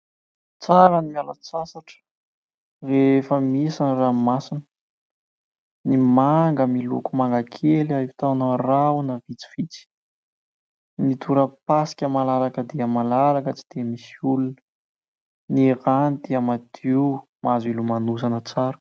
Tsara ny miala sasatra rehefa misy ny ranomasina, ny manga miloko mangakely ahitana rahona vitsivitsy, ny torapasika malalaka dia malalaka tsy dia misy olona, ny rano dia madio mahazo ilomanosana tsara.